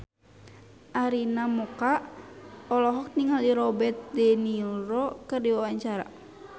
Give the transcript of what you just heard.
Arina Mocca olohok ningali Robert de Niro keur diwawancara